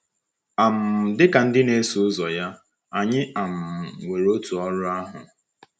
um Dị ka ndị na-eso ụzọ ya, anyị um nwere otu ọrụ ahụ.